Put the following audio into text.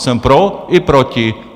Jsem pro i proti.